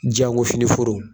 Jango filen foro.